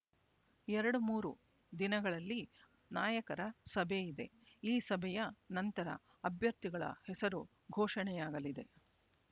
ಎರಡು ಮೂರು ದಿನಗಳಲ್ಲಿ ನಾಯಕರ ಸಭೆ ಇದೆ ಈ ಸಭೆಯ ನಂತರ ಅಭ್ಯರ್ಥಿಗಳ ಹೆಸರು ಘೋಷಣೆಯಾಗಲಿದೆ